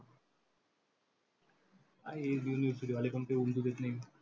काय हे university वाले